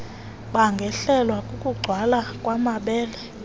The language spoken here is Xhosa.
bangehlelwa kukugcwala kwamabele